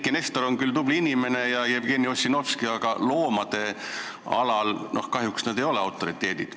Eiki Nestor on küll tubli inimene ja seda on ka Jevgeni Ossinovski, aga loomade alal ei ole nad kahjuks autoriteedid.